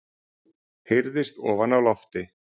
heyrðist ofan af lofti.